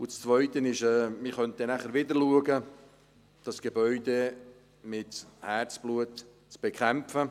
Das Zweite ist, dass man dann wieder mit Herzblut versuchen könnte, dieses Gebäude zu bekämpfen.